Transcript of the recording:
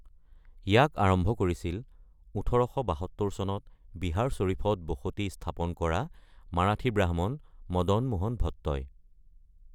ইয়াক আৰম্ভ কৰিছিল ১৮৭২ চনত বিহাৰ শ্বৰীফত বসতি স্থাপন কৰা মাৰাঠী ব্ৰাহ্মণ মদন মোহন ভট্টই ।